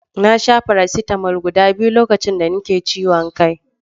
Na sha faracetamol guɗa biyu lokacin da nake ciwon kai.